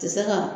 Tɛ se ka